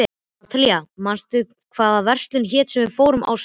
Natalía, manstu hvað verslunin hét sem við fórum í á sunnudaginn?